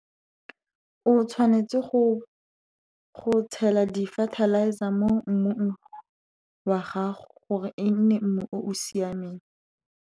O tshwanetse go tshela di-fertilizer mo mmung wa gago, gore e nne mmu o o siameng.